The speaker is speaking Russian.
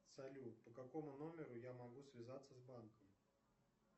салют по какому номеру я могу связаться с банком